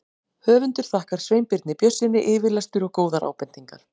Höfundur þakkar Sveinbirni Björnssyni yfirlestur og góðar ábendingar.